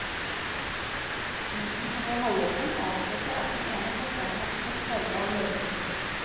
Munnen som var halvåpen avslørte at den ene fortannen hadde tatt farge av leppestiften.